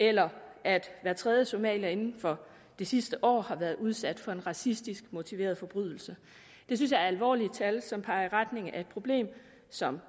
eller at hver tredje somalier inden for det sidste år har været udsat for en racistisk motiveret forbrydelse det synes jeg er alvorlige tal som peger i retning af et problem som